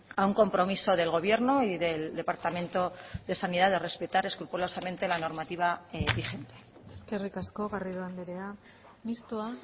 a un compromiso del gobierno y del departamento de sanidad de respetar escrupulosamente la normativa vigente eskerrik asko garrido andrea mistoa